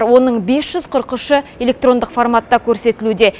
оның бес жүз қырық үші электрондық форматта көрсетілуде